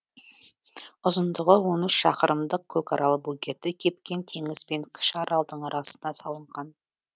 ұзындығы он үш шақырымдық көкарал бөгеті кепкен теңіз бен кіші аралдың арасына салынған